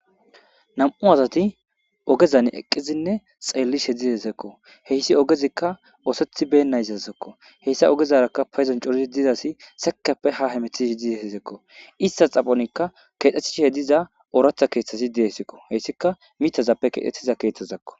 Namu'u assati ogezani eqqidi xelishe dettesi. Hayissi ogezikka ossetibenazasako hayisa ogezara payidoni coori diza asi sekippe ha hemeti dizayisako ista xaphonika kexetishe diza oratha kethi dizayisako hayisika mithazape kexetida kethako.